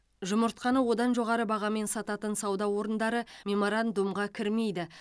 жұмыртқаны одан жоғары бағамен сататын сауда орындары меморандумға кірмейді